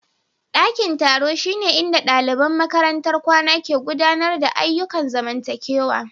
Ɗakin taro shine inda ɗaliban makarantar kwana ke gudanar da ayyukan zamantakewa.